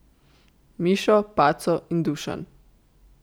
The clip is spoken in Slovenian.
Mišo, Paco in Dušan.